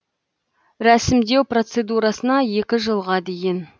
рәсімдеу процедурасына екі жылға дейін